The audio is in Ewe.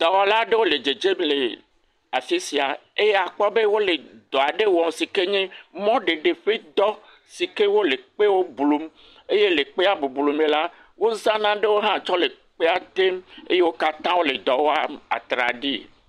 Dɔwɔla aɖewo le dzedze le afi sia eye akpɔ be wole dɔ aɖe wɔ si ke nye mɔɖeɖe ƒe dɔ si ke wole kpe blum. Eye le kpea bublu me la wozã nanewo hã tsɔ le kpea tem. Eye wo katã wole dɔ wɔam atraɖii.